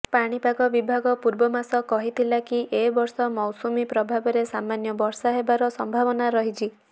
ପାଣିପାଗ ବିଭାଗ ପୂର୍ବମାସ କହିଥିଲା କି ଏ ବର୍ଷ ମୌସୁମୀ ପ୍ରଭାବରେ ସାମାନ୍ୟ ବର୍ଷା ହେବାର ସମ୍ଭାବନା ରହିଛି